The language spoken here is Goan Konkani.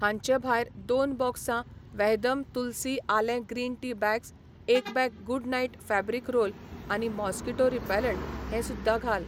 हांचे भायर दोन बॉक्सां वहदम तुलसी आलें ग्रीन टी बॅग्स, एक bag Good Knight fabric roll on mosquito repellent हें सुध्दां घाल.